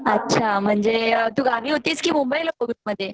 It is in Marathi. अच्छा तू म्हणजे गावी होतीस का मुंबई ला कोविड मध्ये